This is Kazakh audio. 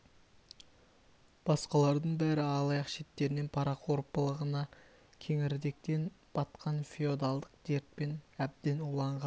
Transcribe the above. басқалардың бәрі алаяқ шеттерінен парақор былығына кеңірдектен батқан феодалдық дертпен әбден уланған